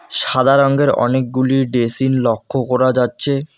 সাদা রঙ্গের অনেকগুলি ডেসিন লক্ষ করা যাচ্ছে।